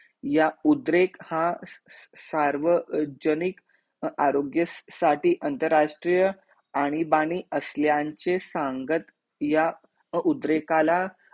ह्या उद्रेक हा सार्वजनिक आरोग्य साठी आंतराष्ट्रीय आणि बाणी असल्याचे सांगत या उद्रेकाला